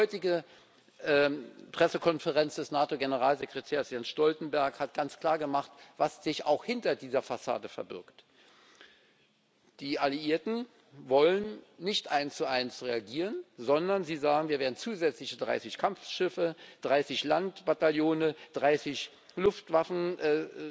Die heutige Pressekonferenz des NATO Generalsekretärs Jens Stoltenberg hat ganz klargemacht, was sich auch hinter dieser Fassade verbirgt Die Alliierten wollen nicht eins zu eins reagieren, sondern sie sagen Wir werden zusätzliche 30 Kampfschiffe, 30 Landbataillone, 30 Luftwaffenquadrillen